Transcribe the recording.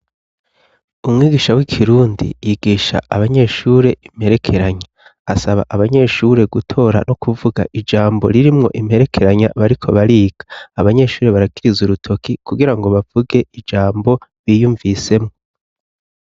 Umwigisha w'ikirundi yigisha abanyeshuri imperekeranya asaba abanyeshuri gutora no kuvuga ijambo riri mwo imperekeranya bariko bariga abanyeshuri barakiriza urutoki kugira ngo bavuge ijambo biyumvisemo.